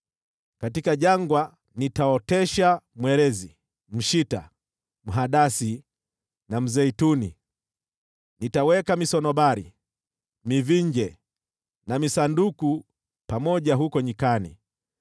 Katika jangwa nitaotesha mwerezi, mshita, mhadasi na mzeituni. Nitaweka misunobari, mivinje na misanduku pamoja huko nyikani,